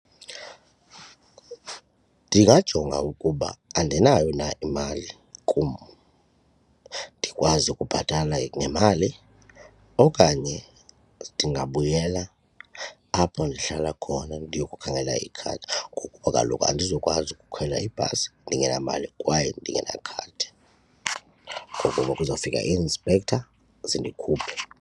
Ndingajonga ukuba andinayo na imali kum ndikwazi ukubhatala ngemali okanye ndingabuyela apho ndihlala khona ndiyokukhangela ikhadi ngokuba kaloku andizukwazi ukukhwela ibhasi ndingenamali kwaye ndingenakhadi ngokuba kuzawufika ii-inspector zindikhuphe.